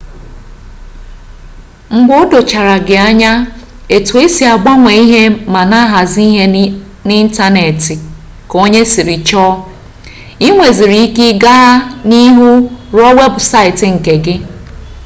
mgbe o dochaa gị anya etu e si agbanwe ma na-ahazi ihe n'ịntanetị ka onye siri chọọ i nweziri ike gaa n'ihu rụọ weebụsaịtị nke gị